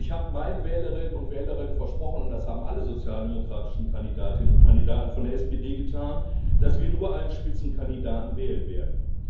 Und ich habe meinen Wählerinnen und Wählern versprochen das haben alle sozialdemokratischen Kandidatinnen und Kandidaten von der SPD getan dass wir nur einen Spitzenkandidaten wählen werden.